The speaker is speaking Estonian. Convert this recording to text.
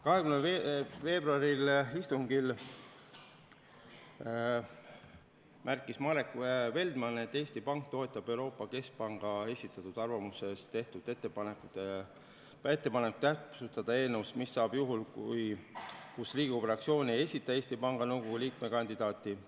20. veebruari istungil märkis Marek Feldman, et Eesti Pank toetab Euroopa Keskpanga esitatud arvamuses tehtud ettepanekut täpsustada eelnõus seda, mis saab juhul, kui Riigikogu fraktsioon ei esita Eesti Panga Nõukogu liikme kandidaati.